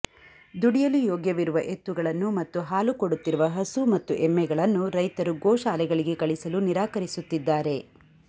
ದುಡಿಯಲು ಯೋಗ್ಯವಿರುವ ಎತ್ತುಗಳನ್ನು ಮತ್ತು ಹಾಲು ಕೊಡುತ್ತಿರುವ ಹಸು ಮತ್ತು ಎಮ್ಮೆಗಳನ್ನು ರೈತರು ಗೋಶಾಲೆಗಳಿಗೆ ಕಳಿಸಲು ನಿರಾಕರಿಸುತ್ತಿದ್ದಾರೆ